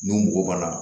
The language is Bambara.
N'u mɔgɔ banna